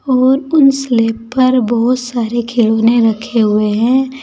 और उन स्लैब पर बहुत सारे खिलौने रखे हुए है।